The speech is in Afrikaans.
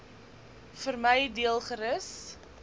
vermy deel gerus